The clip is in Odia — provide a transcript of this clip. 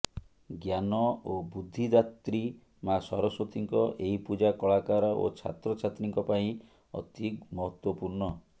ଜ୍ଞାନ ଓ ବୁଦ୍ଧିଦାତ୍ରୀ ମା ସରସ୍ୱତୀଙ୍କ ଏହି ପୂଜା କଳାକାର ଓ ଛାତ୍ର ଛାତ୍ରୀଙ୍କ ପାଇଁ ଅତି ମହତ୍ୱପୂର୍ଣ୍ଣ